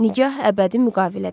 Nigah əbədi müqavilədir.